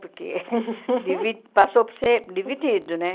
Porque divi passou por ser dividido, né?